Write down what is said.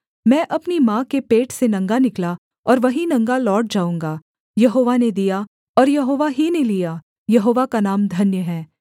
मैं अपनी माँ के पेट से नंगा निकला और वहीं नंगा लौट जाऊँगा यहोवा ने दिया और यहोवा ही ने लिया यहोवा का नाम धन्य है